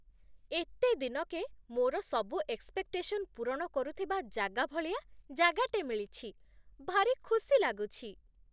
ଏତେ ଦିନକେ ମୋର ସବୁ ଏକ୍ସପେକ୍‌ଟେସନ୍ ପୂରଣ କରୁଥିବା ଜାଗା ଭଳିଆ ଜାଗାଟେ ମିଳିଛି, ଭାରି ଖୁସି ଲାଗୁଛି ।